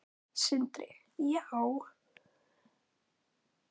Sindri: Já?